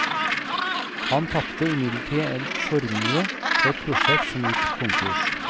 Han tapte imidlertid en formue på et prosjekt som gikk konkurs.